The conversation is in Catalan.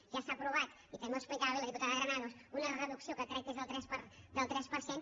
ja està aprovada i també ho explicava bé la diputada granados una reducció que crec que és del tres per cent